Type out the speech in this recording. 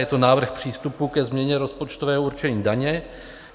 Je to návrh přístupu ke změně rozpočtového určení daní.